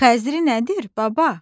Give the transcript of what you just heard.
Xəzri nədir, baba?